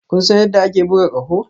Kun san yadda ake buga ƙaho?